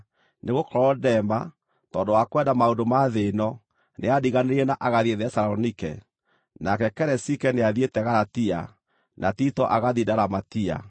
nĩgũkorwo Dema, tondũ wa kwenda maũndũ ma thĩ ĩno, nĩandiganĩirie na agathiĩ Thesalonike. Nake Keresike nĩathiĩte Galatia, na Tito agathiĩ Dalamatia.